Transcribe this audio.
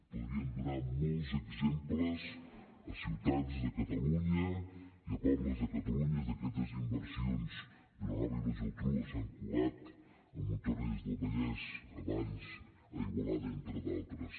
podríem donar molts exemples a ciutats de catalunya i a pobles de catalunya d’aquestes inversions vilanova i la geltrú o sant cugat a montornès del vallès a valls a igualada entre d’altres